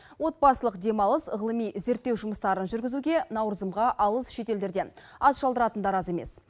отбасылық демалыс ғылыми зерттеу жұмыстарын жүргізуге наурызымға алыс шет елдерден ат шалдыратындар аз емес